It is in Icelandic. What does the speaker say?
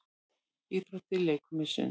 Íþróttir- leikfimi- sund